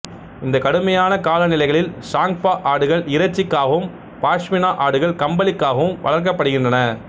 இந்த கடுமையான காலநிலைகளில் சாங்க்பா ஆடுகள் இறைச்சிக்காகவும் பாஷ்மினா ஆடுகள் கம்பளிக்காகவும் வளர்க்கப்படுகின்றன